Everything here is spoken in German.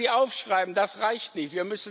Wenn wir sie aufschreiben, das reicht nicht.